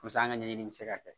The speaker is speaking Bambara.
Pusa an ka ɲɛɲini bɛ se ka kɛ